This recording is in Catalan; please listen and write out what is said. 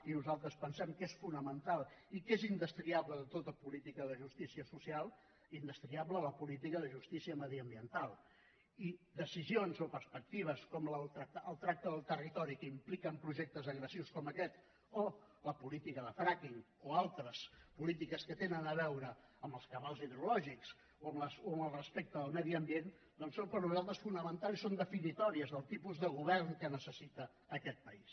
i nosaltres pensem que és fonamental i que és indestriable de tota política de justícia social indestriable la política de justícia mediambiental i decisions o perspectives com el tracte del territori que impliquen projectes agressius com aquests o la política de fracking o altres polítiques que tenen a veure amb els cabals hidrològics o amb el respecte al medi ambient doncs són per nosaltres fonamentals i són definitòries del tipus de govern que necessita aquest país